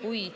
Kui